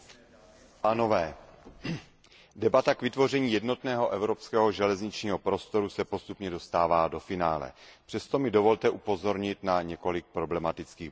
Pane předsedající, debata k vytvoření jednotného evropského železničního prostoru se postupně dostává do finále. Přesto mi dovolte upozornit na několik problematických bodů.